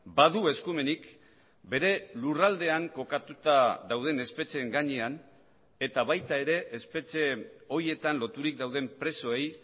badu eskumenik bere lurraldean kokatuta dauden espetxeen gainean eta baita ere espetxe horietan loturik dauden presoei